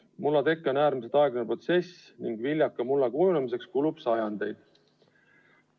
Mulla teke on äärmiselt aeglane protsess ning viljaka mulla kujunemiseks kulub sajandeid.